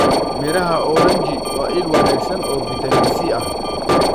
Midhaha oranji waa il wanaagsan oo fiitamiin C ah.